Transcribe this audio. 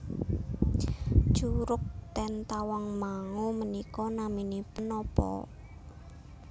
Curug ten Tawangmangu menika naminipun nopo